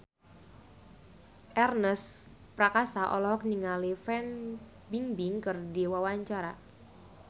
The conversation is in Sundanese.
Ernest Prakasa olohok ningali Fan Bingbing keur diwawancara